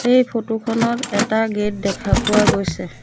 এই ফটো খনত এটা গেট দেখা পোৱা গৈছে।